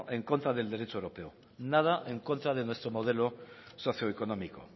en contra del derecho europeo nada en contra de nuestro modelo socioeconómico